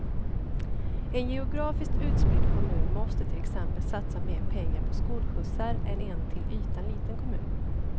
En geografiskt utspridd kommun måste till exempel satsa mer pengar på skolskjutsar än en till ytan liten kommun.